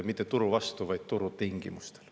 Mitte turu vastu, vaid turutingimustel.